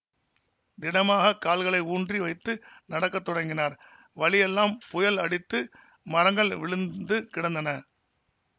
திடமாகக் கால்களை ஊன்றி வைத்து நடக்க தொடங்கினார் வழியெல்லாம் புயல் அடித்து மரங்கள் விழுந்து கிடந்தன